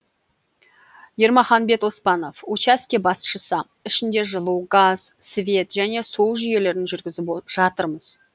ермаханбет оспанов учаске басшысы ішінде жылу газ свет және су жүйелерін жүргізіп жатырмыз